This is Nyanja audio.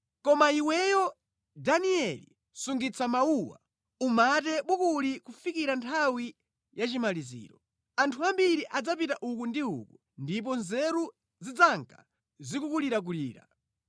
Koma iweyo, Danieli, sungitsa mawuwa, umate bukuli kufikira nthawi ya chimaliziro. Anthu ambiri adzapita uku ndi uko ndipo nzeru zidzanka zikukulirakulira.”